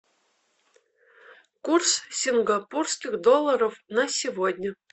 курс сингапурских долларов на сегодня